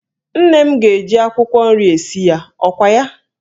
Nne m ga-eji akwụkwọ nri esi ya, ọkwa ya?